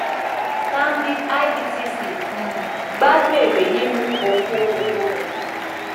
stanbic ibtc um gbádùn ère nínú ọkọ owó rẹ